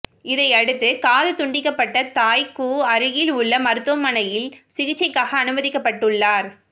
இதையடுத்து காது துண்டிக்கப்பட்ட தாய் கூ அருகில் உள்ள மருத்துவமனையில் சிகிச்சைக்காக அனுமதிக்கப்பட்டுள்ளார்